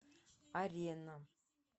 арена